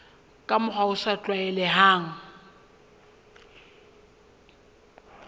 ka mokgwa o sa tlwaelehang